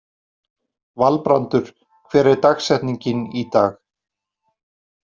Valbrandur, hver er dagsetningin í dag?